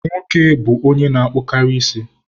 Nwoke bụ onye na-akpụkarị isi.